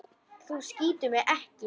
Þú skýtur mig ekki.